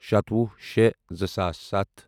شَتوُہ شےٚ زٕ ساس ستھ